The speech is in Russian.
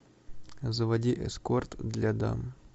заводи эскорт для дам